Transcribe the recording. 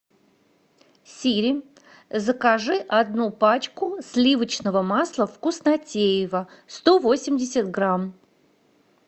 сири закажи одну пачку сливочного масла вкуснотеево сто восемьдесят грамм